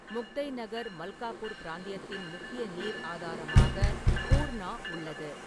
முக்தைநகர், மல்காபூர் பிராந்தியத்தின் முக்கிய நீர் ஆதாரமாக பூர்ணா உள்ளது.